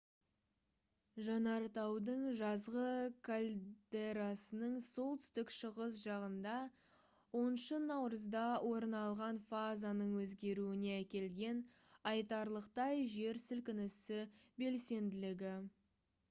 жанартаудың жазғы кальдерасының солтүстік шығыс жағында 10 наурызда орын алған фазаның өзгеруіне әкелген айтарлықтай жер сілкінісі белсенділігі